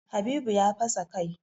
Habibu ya fasa kai.